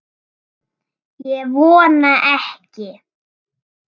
Ég vona ekki